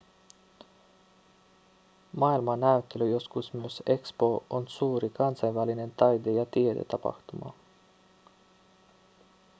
maailmannäyttely joskus myös expo on suuri kansainvälinen taide- ja tiedetapahtuma